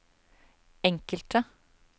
enkelte